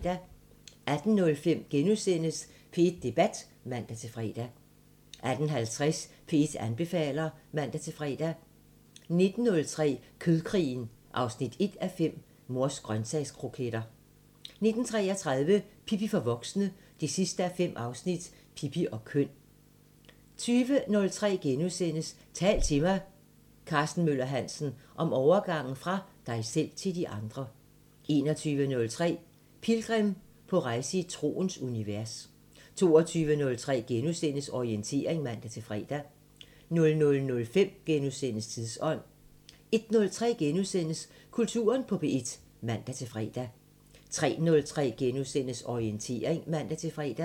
18:05: P1 Debat *(man-fre) 18:50: P1 anbefaler (man-fre) 19:03: Kødkrigen 1:5 – Mors grøntsagskroketter 19:33: Pippi for voksne 5:5 – Pippi og køn 20:03: Tal til mig – Karsten Møller Hansen: Om overgangen fra dig selv til de andre * 21:03: Pilgrim – på rejse i troens univers 22:03: Orientering *(man-fre) 00:05: Tidsånd * 01:03: Kulturen på P1 *(man-fre) 03:03: Orientering *(man-fre)